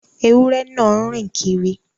Ẹwurẹ̀ náà ń rìn kírì